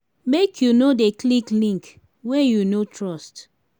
make you no dey click link wey you no trust.